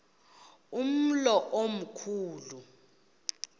umlo omkhu lu